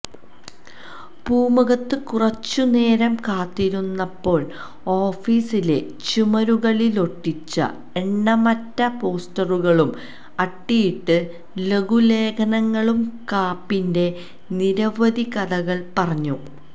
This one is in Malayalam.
പൂമുഖത്ത് കുറച്ചുനേരം കാത്തിരുന്നപ്പോള് ഓഫീസിലെ ചുമരുകളിലൊട്ടിച്ച എണ്ണമറ്റ പോസ്റ്ററുകളും അട്ടിയിട്ട ലഘുലേഖകളും കാപ്പിന്റെ നിരവധി കഥകള് പറഞ്ഞു